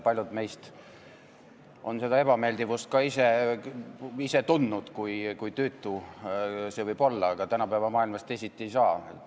Paljud meist on seda ebameeldivust ka ise tundnud, kui tüütu see võib olla, aga tänapäeva maailmas teisiti ei saa.